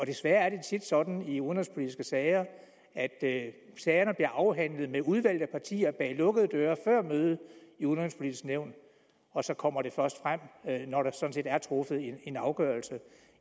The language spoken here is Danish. desværre er det tit sådan i udenrigspolitiske sager at sagerne bliver afhandlet med udvalgte partier bag lukkede døre før mødet i udenrigspolitisk nævn og så kommer det først frem når der sådan set er truffet en afgørelse